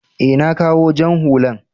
e, na kawo jan hullan.